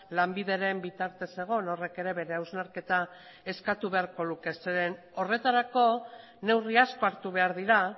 lanbideren bitartez zegoen horrek ere bere hausnarketa eskatu beharko luke zeren horretarako neurri asko hartu behar dira